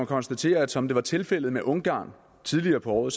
konstatere at som det var tilfældet med ungarn tidligere på året